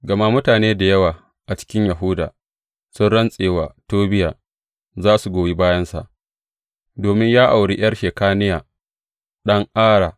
Gama mutane da yawa a cikin Yahuda sun rantse wa Tobiya za su goyi bayansa, domin ya auri ’yar Shekaniya, ɗan Ara.